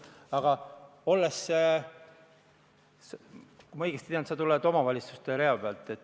Kui ma õigesti tean, siis sa tuled nn omavalitsuste rea pealt.